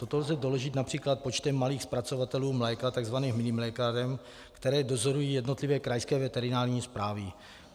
Toto lze doložit například počtem malých zpracovatelů mléka, takzvaných minimlékáren, které dozorují jednotlivé krajské veterinární správy.